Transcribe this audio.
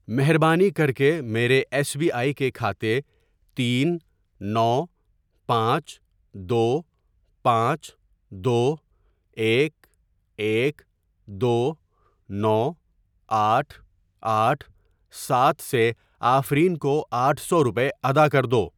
مہربانی کرکے میرے ایس بی آئی کے کھاتے تین نو پانچ دو پانچ دو ایک ایک دو نو آٹھ آٹھ سات سے آفرین کو آٹھ سو روپے ادا کردو۔